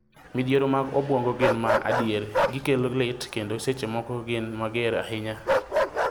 Midhiero mag obwongo gin ma adier, gi kelo lit, kendo seche moko gin mager ahinya.